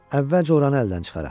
Əvvəlcə oranı əldən çıxaraq.